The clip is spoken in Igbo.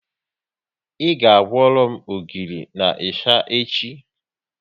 Ị ga kworo m ogiri na ịsha echi